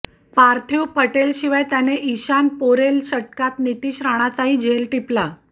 पार्थिव पटेलशिवाय त्याने इशान पोरेल षटकात नितिश राणाचाही झेल टिपला